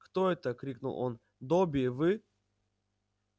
кто это крикнул он добби вы